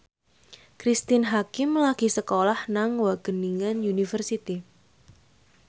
Cristine Hakim lagi sekolah nang Wageningen University